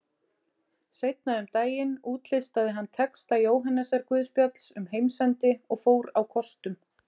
Seinna um daginn útlistaði hann texta Jóhannesarguðspjalls um heimsendi og fór á kostum.